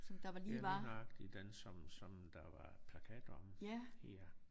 Ja lige nøjagtig den som som der var plakater om ja